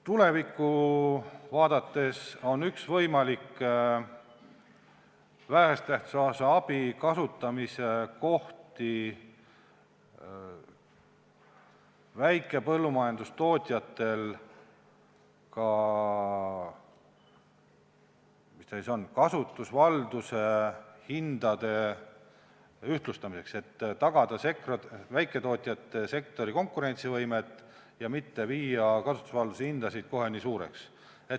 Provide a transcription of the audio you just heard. Tulevikku vaadates on üks võimalik vähese tähtsusega abi kasutamise kohti väikepõllumajandustootjatel kasutusvalduse hindade ühtlustamine, et tagada väiketootjate sektori konkurentsivõimet ja mitte viia kasutusvalduse hindasid kohe nii suureks.